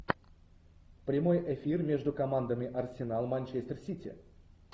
прямой эфир между командами арсенал манчестер сити